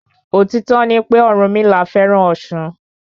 Òtító ni pé Ọ̀rùnmila fẹ́ràn ọ̀sun.